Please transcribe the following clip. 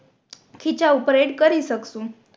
ખીચા ઉપર એડ કરી શકશું